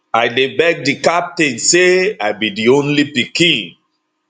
i dey beg di captain say i be di only pikin